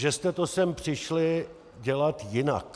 Že jste to sem přišli dělat jinak.